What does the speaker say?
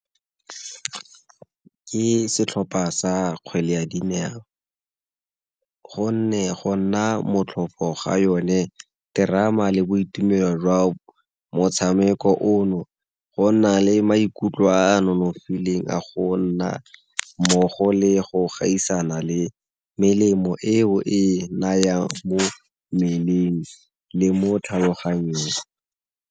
Ke setlhopha sa kgwele ya dinao gonne go nna motlhofo ga yone, terama, le boitumelo jwa motshameko ono go na le maikutlo a nonofileng a go nna mmogo le go gaisana le melemo eo e nayang mo mmeleng le mo tlhaloganyong.